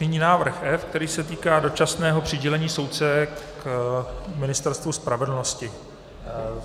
Nyní návrh F, který se týká dočasného přidělení soudce k Ministerstvu spravedlnosti.